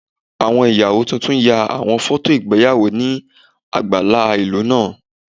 Awọn iyawo tuntun ya awọn fọto igbeyawo ni agbala ilu naa